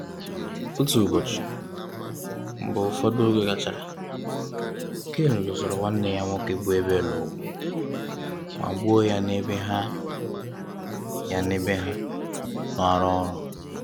Otu ụbọchị, mgbe ụfọdụ oge gachara Cain lụsoro nwanne ya nwoke bụ Abel ọgụ ma gbuo ya n'ebe ha ya n'ebe ha na arụ ọrụ.